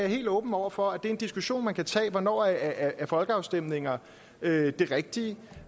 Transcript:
helt åben over for en diskussion man kan tage hvornår er folkeafstemninger det rigtige